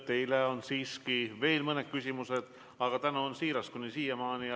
Teile on siiski veel mõni küsimus, aga mu tänu on siiras.